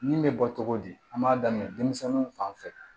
Min bɛ bɔ togo di an b'a daminɛ denmisɛnninw fan fɛ